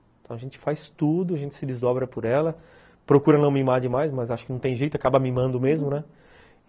Então a gente faz tudo, a gente se desdobra por ela, procura não mimar demais, mas acho que não tem jeito, acaba mimando mesmo, né?